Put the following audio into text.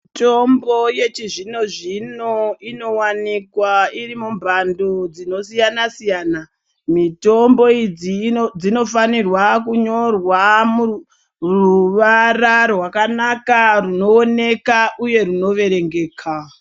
Mitombo yechizvino zvino inowanikwa iri mumbando dzinosisa a siyana mitombo idzi dzinofanirwa kunyorwa ruvara rakanaka runooneka uye runoverengeka.